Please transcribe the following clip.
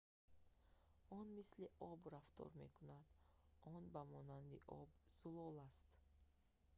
он мисли об рафтор мекунад он ба монанди об зулол аст